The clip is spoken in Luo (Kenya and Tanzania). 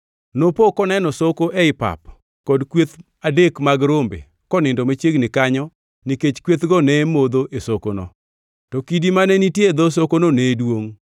Nopo koneno soko ei pap kod kweth adek mag rombe konindo machiegni kanyo nikech kwethgo ne modho e sokono. To kidi mane nitie e dho sokono ne duongʼ.